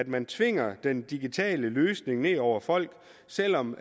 man tvinger den digitale løsning ned over folk selv om